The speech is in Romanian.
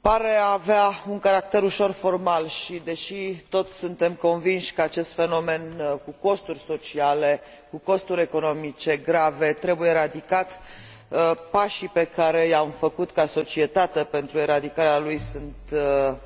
Pare a avea un caracter ușor formal și, deși toți suntem convinși că acest fenomen cu costuri sociale, cu costuri economice grave, trebuie eradicat, pașii pe care i am făcut ca societate pentru eradicarea lui sunt